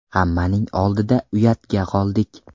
Hammaning oldida uyatga qoldik.